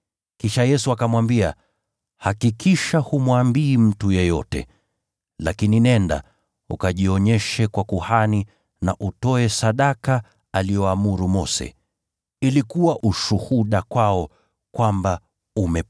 Kisha Yesu akamwambia, “Hakikisha humwambii mtu yeyote. Lakini nenda ukajionyeshe kwa kuhani, na utoe sadaka aliyoamuru Mose, ili kuwa ushuhuda kwao.”